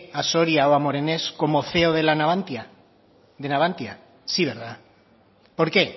a soria o a morenés como ceo de navantia sí verdad por qué